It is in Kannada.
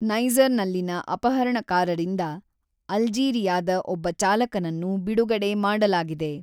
ನೈಜರ್‌ನಲ್ಲಿನ ಅಪಹರಣಕಾರರಿಂದ ಅಲ್ಜೀರಿಯಾದ ಒಬ್ಬ ಚಾಲಕನನ್ನು ಬಿಡುಗಡೆ ಮಾಡಲಾಗಿದೆ.